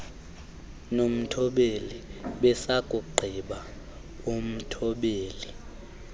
nomthobeli besakugqiba umthobeli